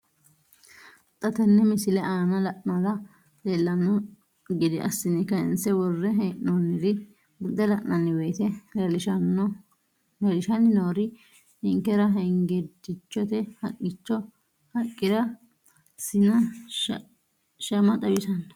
Xa tenne missile aana la'nara leellanno gede assine kayiinse worre hee'noonniri buunxe la'nanni woyiite leellishshanni noori ninkera hengeddichote haqqira sina shama xawissanno.